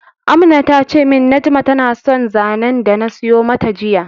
Amna tace min Najma na son zanen dana siyo mata jiya